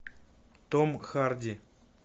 том харди